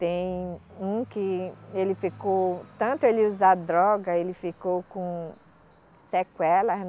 Tem um que ele ficou, tanto ele usar droga, ele ficou com sequelas, né?